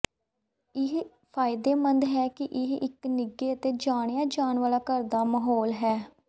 ਇਹ ਫਾਇਦੇਮੰਦ ਹੈ ਕਿ ਇਹ ਇੱਕ ਨਿੱਘੇ ਅਤੇ ਜਾਣਿਆ ਜਾਣ ਵਾਲਾ ਘਰ ਦਾ ਮਾਹੌਲ ਹੈ